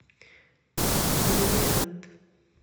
бриллиант